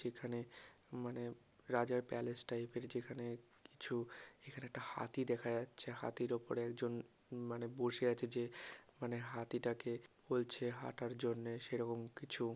যেখানে মানে রাজার প্যালেস টাইপ -এর যেখানে কিছু এখানে একটা হাতি দেখা যাচ্ছে হাতির উপরে একজন উম মানে বসে আছে যে মানে হাতিটাকে বলছে হাঁটার জন্য সেরকম কিছু।